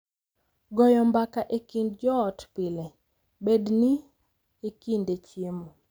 Goyo mbaka e kind joot pile, bed ni e kinde chiemo